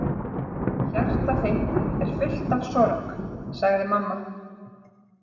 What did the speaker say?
Hjarta þitt er fullt af sorg, sagði mamma.